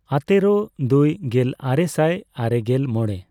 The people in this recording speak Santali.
ᱟᱛᱮᱨᱳ, ᱫᱩᱭ ᱜᱮᱞᱟᱨᱮᱥᱟᱭ ᱟᱨᱮᱜᱮᱞ ᱢᱚᱲᱮ ,